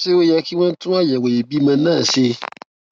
ṣé ó yẹ kí wón tún àyèwò ìbímọ náà ṣe